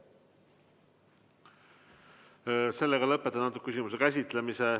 Lõpetan küsimuse käsitlemise.